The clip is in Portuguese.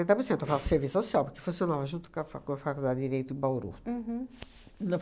por cento. Eu faço serviço social, porque funcionava junto com a com a Faculdade de Direito em Bauru. Uhum. Na